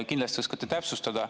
Kindlasti oskate täpsustada.